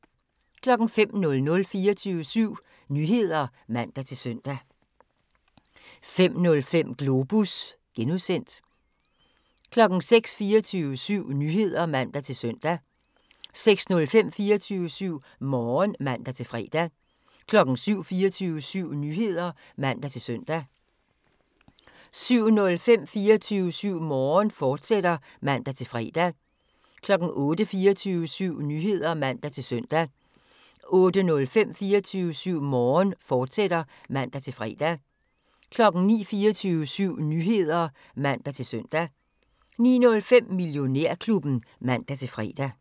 05:00: 24syv Nyheder (man-søn) 05:05: Globus (G) 06:00: 24syv Nyheder (man-søn) 06:05: 24syv Morgen (man-fre) 07:00: 24syv Nyheder (man-søn) 07:05: 24syv Morgen, fortsat (man-fre) 08:00: 24syv Nyheder (man-søn) 08:05: 24syv Morgen, fortsat (man-fre) 09:00: 24syv Nyheder (man-søn) 09:05: Millionærklubben (man-fre)